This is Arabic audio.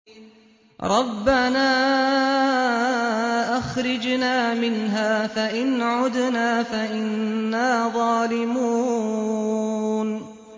رَبَّنَا أَخْرِجْنَا مِنْهَا فَإِنْ عُدْنَا فَإِنَّا ظَالِمُونَ